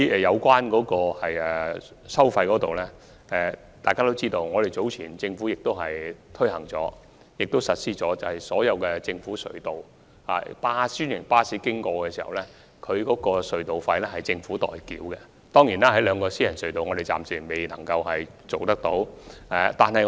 在收費方面，大家皆知道，政府早前實施了一項安排，便是專營巴士使用政府隧道所需的隧道費可獲政府豁免，但這安排暫時並未涵蓋兩條私營隧道。